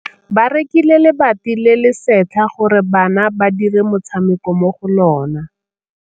Ba rekile lebati le le setlha gore bana ba dire motshameko mo go lona.